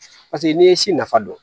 Paseke n'i ye si nafa dɔn